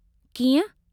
"कीअं?